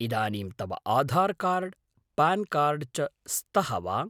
इदानीं तव Aadhaar card, PAN card च स्तः वा?